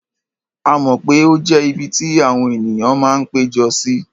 A mọ̀ pé ó jẹ́ ibi tí àwọn ènìyàn máa ń pé jọ sí.